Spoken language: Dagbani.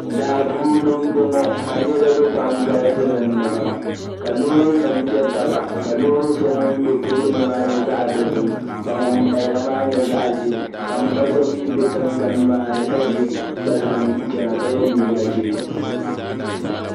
Daa puuni mbɔŋɔ ka niriba pam galisi din ni pam ka loorinima pe taba ka loori shɛli din be tooni maa nyɛ zaɣ dɔzim ka ŋun paya maa nyɛ zaɣ ʒɛɛ ka m ba so mi be tiŋgbani maa ni ka ʒi kpalaŋa ka yɛ liiga ʒɛɛ